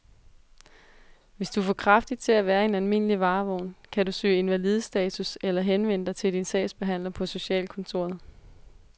Hvis du er for kraftig til at være i en almindelig varevogn, kan du kan søge invalidestatus eller henvende dig til din sagsbehandler på socialkontoret.